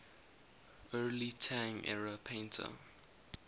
early tang era painter